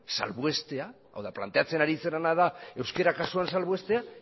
salbuestea hau da planteatzen ari zarena da euskera kasuan salbuestea